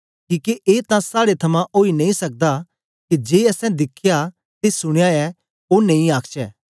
किके ए तां साड़े थमां ओई नेई सकदा के जे असैं दिखया ते सुनया ऐ ओ नेई आखचै